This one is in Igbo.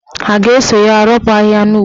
Ha ga-eso ya ropu ahịhịa n'ugbo?